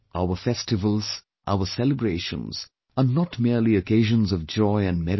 Our festivals, our celebrations are not merely occasions of joy and merriment